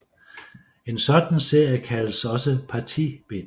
En sådan serie kaldes også partibind